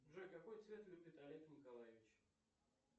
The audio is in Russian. джой какой цвет любит олег николаевич